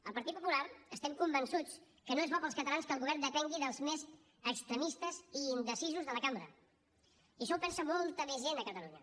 al partit popular estem convençuts que no és bo pels catalans que el govern depengui dels més extremistes i indecisos de la cambra i això ho pensa molta més gent a catalunya